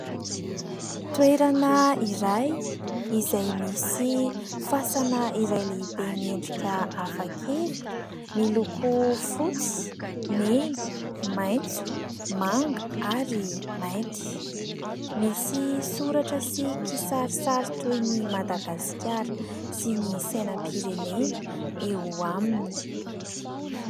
Toerana iray izay misy fasana iray lehibe miendrika hafakely, miloko fotsy, mena, maitso, manga ary maity misy soratra sy kisarisary toy ny Madagasikara sy ny sainam-pirenena eo aminy.